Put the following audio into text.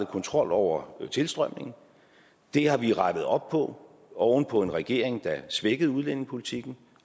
kontrol over tilstrømningen det har vi rettet op på oven på en regering der svækkede udlændingepolitikken